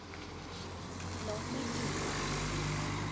laat my toe